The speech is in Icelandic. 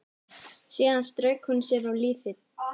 Síðan strauk hún sér á lífið.